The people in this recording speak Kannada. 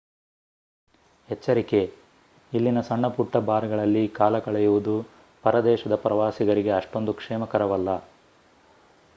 ಎಚ್ಚರಿಕೆ: ಇಲ್ಲಿನ ಸಣ್ಣ ಪುಟ್ಟ ಬಾರ್‌ಗಳಲ್ಲಿ ಕಾಲಕಳೆಯುವುದು ಪರ ದೇಶದ ಪ್ರವಾಸಿಗರಿಗೆ ಅಷ್ಟೊಂದು ಕ್ಷೇಮಕರವಲ್ಲ